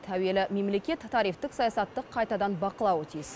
әуелі мемлекет тарифтік саясатты қайтадан бақылауы тиіс